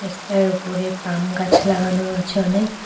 রাস্তার উপরে পাম গাছ লাগানো রয়েছে অনেক।